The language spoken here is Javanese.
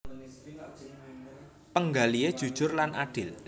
Panggalihé jujur lan adil